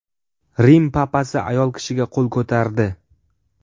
Rim papasi ayol kishiga qo‘l ko‘tardi.